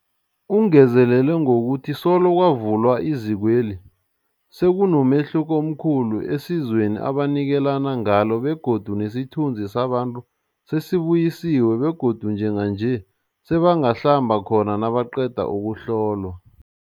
Ungezelele ngokuthi solo kwavulwa izikweli, sekunomehluko omkhulu esizweni ebanikelana ngalo begodu nesithunzi sabantu sesibuyisiwe begodu njenganje sebangahlamba khona nabaqeda ukuhlolwa.